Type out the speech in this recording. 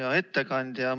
Hea ettekandja!